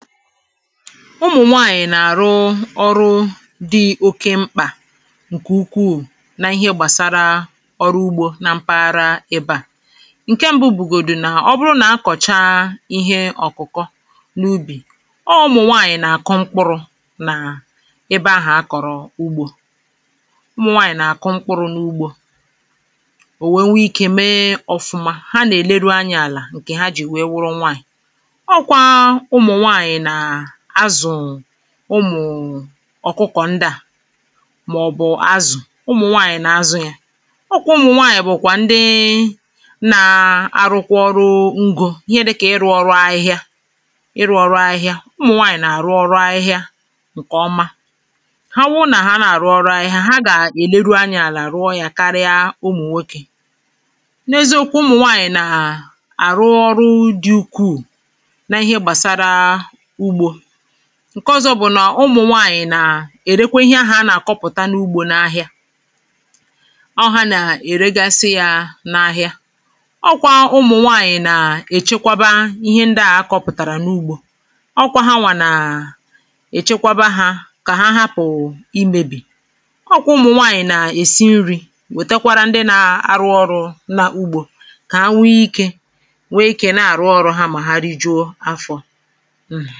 ụmụ̀nwaànyị̀ nà-àrụ um ọrụ dị oke mkpà [paues]ǹkè ukwuù n’ihe gbàsara ọrụ ugbȯ à ǹke mbụ bụ̀gòdù nà ọ bụrụ nà a kọ̀chaa ihe ọ̀kụ̀kọ n’ubì ọ ụmụ̀nwaànyị̀ nà-àku mkpụrụ̇ nà ebe ahụ̀ a kọ̀rọ ugbȯ[paues] ụmụ̀nwaànyị̀ nà-àku mkpụrụ̇ n’ugbȯ ò wère nwee ikė mee ọ̀fụma ha nà-èleru anya àlà ǹkè ha jì wee wụrụ nwaànyị̀ ọ kwa ụmụ nwanyị na azụ um ụmụ̀̀ um ọ̀kụkọ̀ ndị à màọ̀bụ̀ azụ̀ ụmụ̀ nwaànyị̀ nà-azụ yȧ ọkwụ ụmụ̀ nwaànyị̀ bụ̀kwà ndị nȧ-ȧrụkwụ ọrụ ngo ihe dịkà ịrụ̇ ọrụ ahịhịa ịrụ̇ ọrụ ahịhịa ụmụ̀ nwaànyị̀ nà-àrụ ọrụ ahịhịa ǹkè ọma ha bụrụ nà ha nà-àrụ ọrụ ahịhịa ha gà-èleru anyȧ àlà àrụọ yȧ karịa ụmụ̀ nwokė n’ezi okwu ụmụ̀ nwaànyị̀ nà àrụ ọrụ dị̇ ukwuù na ihe gbasara [paues] ụgbo ǹke ọzọ bụ̀ nà ụmụ̀nwaànyị̀ nà-èrekwe ihe ahụ̀ a nà-àkọpụ̀ta n’ugbȯ n’ahịa[paues] ọ hȧ nà-èregasị yȧ n’ahịa ọ kwa ụmụ̀nwaànyị̀ nà-èchekwaba ihe ndị à akọ̇pụ̀tàrà n’ugbȯ ọ kwa hanwà nà-èchekwaba hȧ kà ha hapụ̀ imėbì ọ kwa ụmụ̀nwaànyị̀ nà-èsi nri̇ wètekwara ndị nȧ-arụ ọrụ na ugbȯ kà ha nwee ikė nwee ikė na-àrụ ọrụ ha mà ha ri juo afọ̇